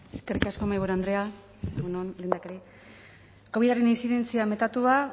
eskerrik asko mahaiburu andrea egun on lehendakari covidaren intzidentzia metatua